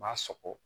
M'a sɔgɔ